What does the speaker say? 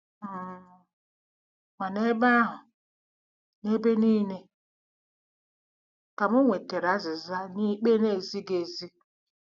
um Ma n'ebe ahụ, n'ebe nile, ka m nwetara azịza nye ikpe na-ezighị ezi.